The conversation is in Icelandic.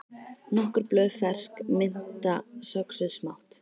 Nokkur blöð fersk mynta söxuð smátt